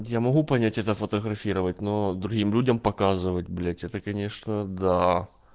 я могу понять это фотографировать но другим людям показывать блять это конечно да